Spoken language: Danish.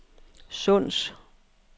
Sunds